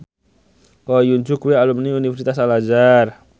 Ko Hyun Jung kuwi alumni Universitas Al Azhar